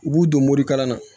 U b'u don morikalan na